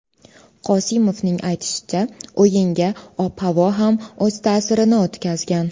Qosimovning aytishicha, o‘yinga ob-havo ham o‘z ta’sirini o‘tkazgan.